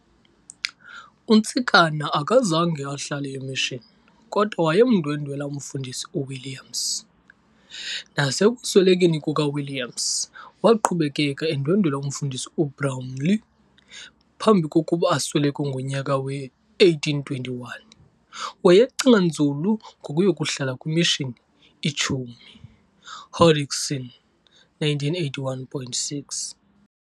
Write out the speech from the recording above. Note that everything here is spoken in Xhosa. UNtsikana akazange ahlale e"Mission" kodwa wayemndwendwela umfundisi u"Williams", nasekuswelekeni kuka"Williams" waqhubekeka endwendwela umfundisi u"Brownlee". Phambi kokuba asweleke ngonyaka we-1821, wayecinga nzulu ngokuyokuhlala kwimishini i"Chumie", Hodgson 1981,6.